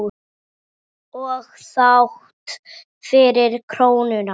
Og þrátt fyrir krónuna?